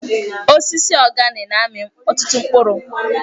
Osisi organe na-amị ọtụtụ mkpụrụ.